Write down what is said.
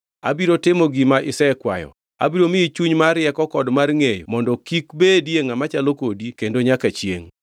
Abiro timo gima isekwayo. Abiro miyi chuny mar rieko kod mar ngʼeyo mondo kik bedie ngʼama chalo kodi kendo nyaka chiengʼ.